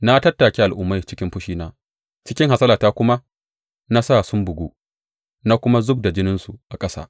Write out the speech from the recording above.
Na tattake al’ummai cikin fushina; cikin hasalata kuma na sa sun bugu na kuma zub da jininsu a ƙasa.